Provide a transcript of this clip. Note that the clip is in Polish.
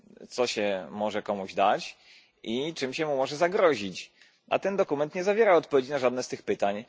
co się może komuś dać i czym się mu może zagrozić, a ten dokument nie zawiera odpowiedzi na żadne z tych pytań.